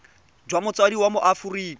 jwa motsadi wa mo aforika